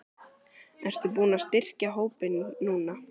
Ertu búinn að styrkja hópinn núna?